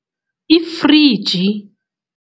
Ifriji.